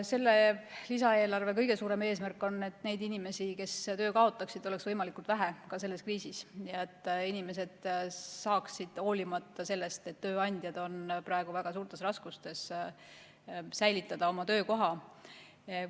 Selle lisaeelarve kõige suurem eesmärk on, et neid inimesi, kes töö kaotavad, oleks võimalikult vähe selles kriisis ja et inimesed saaksid, hoolimata sellest, et tööandjad on praegu väga suurtes raskustes, säilitada oma töökoha.